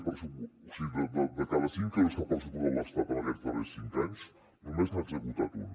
o sigui de cada cinc euros que ha pressupostat l’estat en aquests darrers cinc anys només n’ha executat un